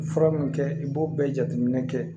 Fura min kɛ i b'o bɛɛ jateminɛ kɛ